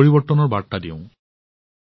পৰিৱৰ্তনৰ কাহিনী জনাও